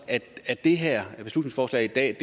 at det her beslutningsforslag i dag